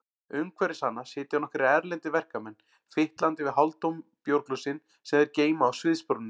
Umhverfis hana sitja nokkrir erlendir verkamenn, fitlandi við hálftóm bjórglösin sem þeir geyma á sviðsbrúninni.